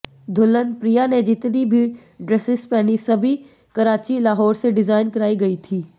दुल्हन प्रिया ने जितनी भी ड्रेसेस पहनी सभी कराची लाहौर से डिजाइन कराई गई थी